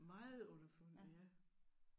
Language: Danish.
Meget underfundig ja